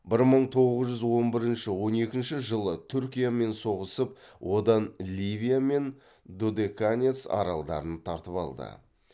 бір мың тоғыз жүз он бірінші он екінші жылы түркиямен соғысып одан ливия мен додеканес аралдарын тартып алды